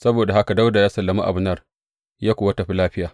Saboda haka Dawuda ya sallami Abner, ya kuwa tafi lafiya.